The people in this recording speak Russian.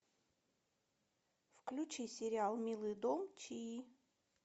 включи сериал милый дом чии